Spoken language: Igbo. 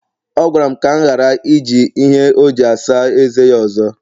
ọ gwara m ka m ghara iji ihe ọjị asaa eze ya ọzọ